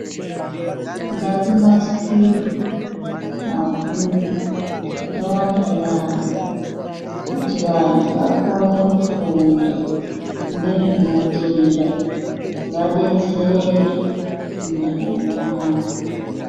Ngakunasirwe mabhuku akawanda yaambo kuti vantu vakone kufunda ngezvematenda vadetsereke mundaramo mwavo.